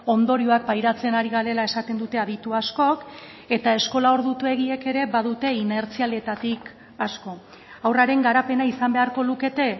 ondorioak pairatzen ari garela esaten dute aditu askok eta eskola ordutegiek ere badute inertzialetatik asko haurraren garapena izan beharko lukete